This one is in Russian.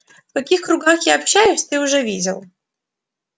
в каких кругах я общаюсь ты уже видел